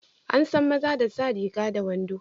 Ansan maza da sa riga da wando.